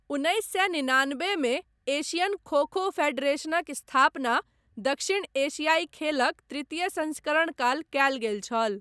उन्नैस सए निनानबे मे, एशियन खो खो फेडरेशनक स्थापना दक्षिण एशियाइ खेलक तृतीय संस्करण काल कयल गेल छल।